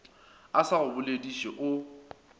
a sa go bolediše o